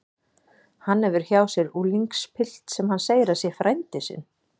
Hann hefur hjá sér unglingspilt sem hann segir að sé frændi sinn.